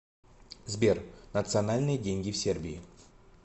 сбер национальные деньги в сербии